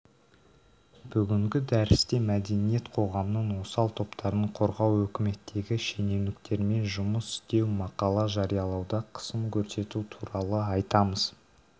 бүгінгі дәрісте мәдениет қоғамның осал топтарын қорғау үкіметтегі шенеуніктермен жұмыс істеу мақала жариялауда қысым көрсету туралы айтамыз